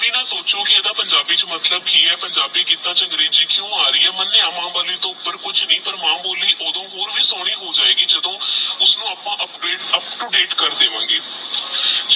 ਅਵੀ ਨਾ ਸੋਚੋ ਕੀ ਓਹ੍ਨ੍ਦਾ ਪੰਜਾਬੀ ਚ ਮਤਲਬ ਕੀ ਆਹ ਪੰਜਾਬੀ ਚ ਕੀੜਾ ਅੰਗਰੇਜੀ ਕੁ ਆਰੀ ਆਹ ਮਾਨ੍ਯ ਮਾਂ ਬੋਲੀ ਟੋਹ ਉੱਪਰ ਕੁਛ ਨਹੀ ਪਰ ਮਾਂ ਬੋਇ ਓਹ੍ਡੋ ਹੋਰ ਵੀ ਸੋਚਣੀ ਹੋ ਅਜੇਗੀ ਜਦੋ ਉਸ ਨੂ ਅਪ੍ਪਾ ਉਪ ਤੋ ਦਾਤੇ ਕਰ ਦੇਵਾਗੇ